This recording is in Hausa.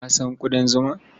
Ka san ƙudan zuma?